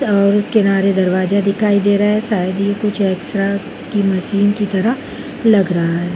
और किनारे दरवाजा दिखाई दे रहा है शायद ये कुछ एक्स रा की मशीन की तरह लग रहा है।